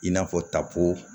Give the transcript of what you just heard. I n'a fɔ tapo